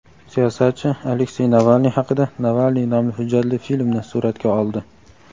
siyosatchi Aleksey Navalniy haqida "Navalniy" nomli hujjatli filmni suratga oldi.